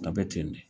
A bɛ ten de